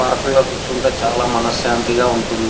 పార్కుల్లో కూర్చుంటే చాల మనస్సంతి ఉంటుంది.